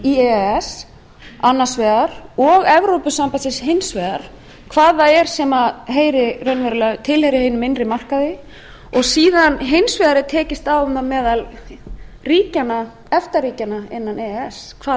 e s annars vegar og evrópusambandsins hins vegar hvað það er sem tilheyrir hinum innri markaði og síðan hins vegar er tekist á um það meðal efta ríkjanna innan e e s hvað